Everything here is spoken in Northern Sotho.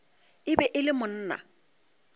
e be e le monna